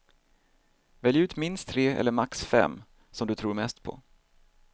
Välj ut minst tre eller max fem som du tror mest på.